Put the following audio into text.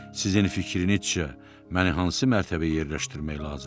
Sizin fikrinizcə məni hansı mərtəbəyə yerləşdirmək lazımdır?